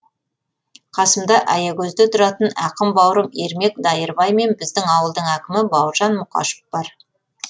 қасымда аягөзде тұратын ақын бауырым ермек дайырбай мен біздің ауылдың әкімі бауыржан мұқашев бар